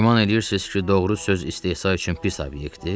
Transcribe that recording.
Güman eləyirsiz ki, doğru söz istehza üçün pis obyektdir?